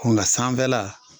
Kun na san fɛ la